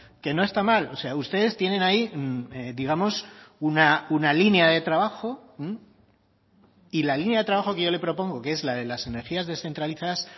que no está mal o sea ustedes tienen ahí digamos una línea de trabajo y la línea de trabajo que yo le propongo que es la de las energías descentralizadas